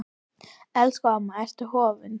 Elsku mamma, Ertu horfin?